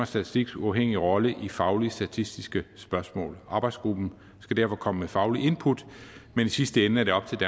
statistiks uafhængige rolle i faglige statistiske spørgsmål arbejdsgruppen skal derfor komme med fagligt input men i sidste ende er det op til